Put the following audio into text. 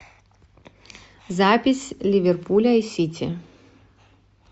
запись ливерпуля и сити